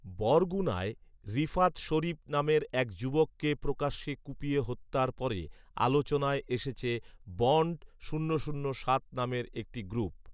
বরগুণায় রিফাত শরীফ নামের এক যুবককে প্রকাশ্যে কুপিয়ে হত্যার পরে আলোচনায় এসেছে বন্ড শূন্য শূন্য সাত নামের একটি গ্রুপ